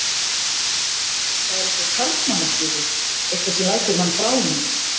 Það er eitthvað karlmannlegt við þig, eitthvað sem lætur mann bráðna.